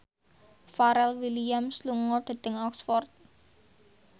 Pharrell Williams lunga dhateng Oxford